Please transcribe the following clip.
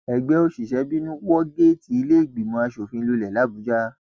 ẹgbẹ òṣìṣẹ bínú wọ géètì ìlẹẹgbìmọ asòfin lulẹ làbújá